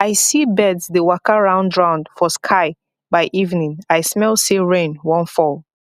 i see birds dey waka roundround for sky by evening i smell say rain wan fall